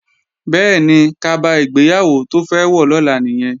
Bẹ́ẹ̀ni, kaba ìgbéyàwó tó fẹ́ wọ̀ lọ́la nìyẹn